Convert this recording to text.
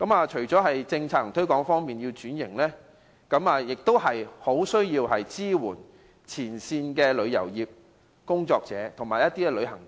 除了政策和推廣方面要作出改善外，當局也需要支援前線的旅遊業從業員和旅行團。